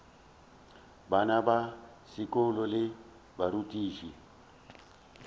bana ba sekolo le barutiši